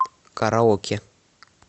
караоке